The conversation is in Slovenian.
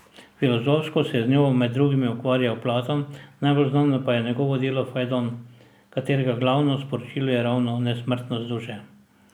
Filozofsko se je z njo med drugim ukvarjal Platon, najbolj znano je njegovo delo Fajdon, katerega glavno sporočilo je ravno nesmrtnost duše.